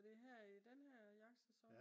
er det her i den her jagtsæson?